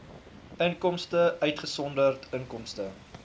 inkomste uitgesonderd inkomste